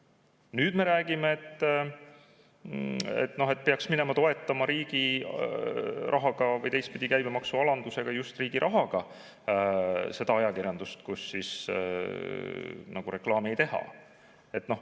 Ja nüüd me räägime, et peaks toetama riigi rahaga või käibemaksu alandamisega just seda ajakirjandust, kus reklaami ei tehta.